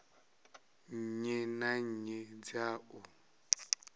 nnyi na nnyi dza u